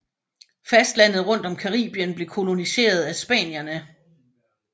Fastlandet rundt om Caribien blev koloniseret af spanierne